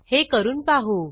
हे करून पाहू